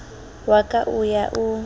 wa ka o ya o